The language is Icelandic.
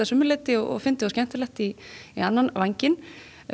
sumu leyti og fyndið og skemmtilegt í hinn vænginn